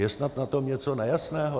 Je snad na tom něco nejasného?